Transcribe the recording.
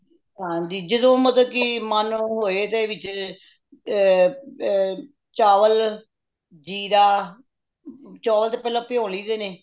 ਹਾਂ ਜਦੋ ਮਤਲਬ ਕਿ ਮਨ ਨੂੰ ਹੋਏ ਤੇ ਵਿੱਚ ਏ ਏ ਏ ਚਾਵਲ ,ਜੀਰਾ ਚੋਲ ਤਾ ਪਹਿਲਾਂ ਪਿਯੋ ਲਈ ਦੇ ਨੇ